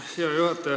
Hea juhataja!